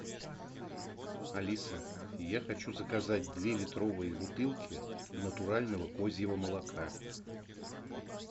алиса я хочу заказать две литровые бутылки натурального козьего молока